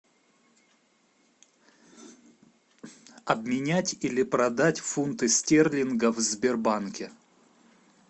обменять или продать фунты стерлингов в сбербанке